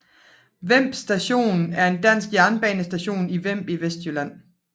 Vemb Station er en dansk jernbanestation i Vemb i Vestjylland